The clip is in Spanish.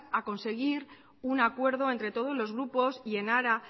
a conseguir un acuerdo entre todos los grupos y en ara